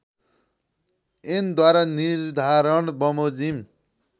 ऐनद्वारा निर्धारण बमोजिम